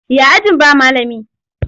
Ya ajin ba malami?